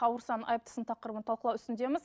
ауырсаң айыптысың тақырыбын талқылау үстіндеміз